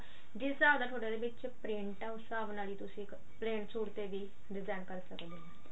ਜਿਸ ਹਿਸਾਬ ਦਾ ਉਹਦੇ ਉਹਦੇ ਵਿੱਚ ਪ੍ਰਿੰਟ ਆ ਉਸ ਹਿਸਾਬ ਨਾਲ ਹੀ ਤੁਸੀਂ plain ਸੂਟ ਤੇ ਵੀ design ਕਰ ਸਕਦੇ ਹਾਂ